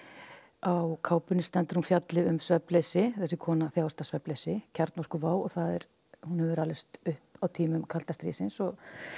á kápunni stendur að hún fjalli um svefnleysi þessi kona þjáist af svefnleysi kjarnorkuvá og hún hefur alist upp á tímum kalda stríðsins og